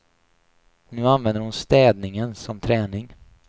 Nu använder hon städningen som träning.